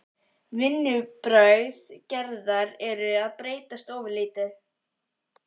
Vinnubrögð Gerðar eru að breytast ofurlítið.